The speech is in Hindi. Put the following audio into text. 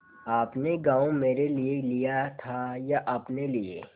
आपने गॉँव मेरे लिये लिया था या अपने लिए